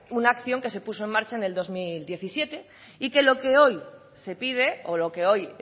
una acción que se puso en marcha en el dos mil diecisiete y que lo que hoy se pide o lo que hoy